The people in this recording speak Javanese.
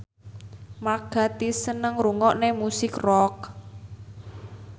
Mark Gatiss seneng ngrungokne musik rock